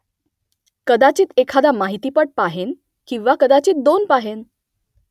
कदाचित एखादा माहितीपट पाहेन किंवा कदाचित दोन पाहेन